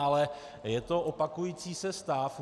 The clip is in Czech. Ale je to opakující se stav.